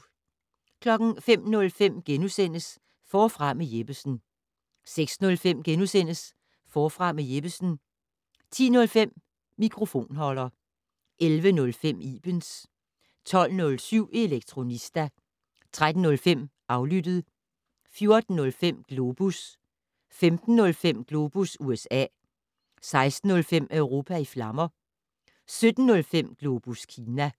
05:05: Forfra med Jeppesen * 06:05: Forfra med Jeppesen * 10:05: Mikrofonholder 11:05: Ibens 12:07: Elektronista 13:05: Aflyttet 14:05: Globus 15:05: Globus USA 16:05: Europa i flammer 17:05: Globus Kina